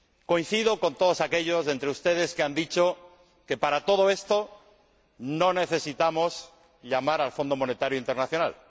Coincido con todos aquellos de entre ustedes que han dicho que, para todo esto, no necesitamos llamar al Fondo Monetario Internacional.